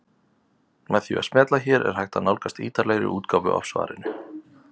Með því að smella hér er hægt að nálgast ítarlegri útgáfu af svarinu.